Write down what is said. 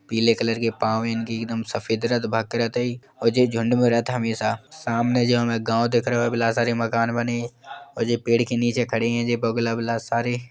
पीले कलर के पाव है इनके एकदम सफेद और जे झुंड में रेहत हमेशा। सामने जो हमे गांव दिख रओ बिला सारे मकान बने और जे पेड़ के नीचे खड़े है बगुला वगुला सारे।